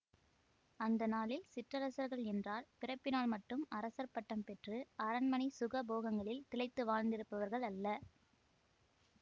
அந்த நாளில் சிற்றரசர்கள் என்றால் பிறப்பினால் மட்டும் அரசர் பட்டம் பெற்று அரண்மனை சுகபோகங்களில் திளைத்து வாழ்ந்திருப்பவர்கள் அல்ல